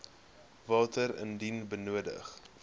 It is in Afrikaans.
water indien nodig